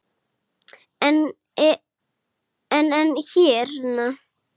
En, en hérna.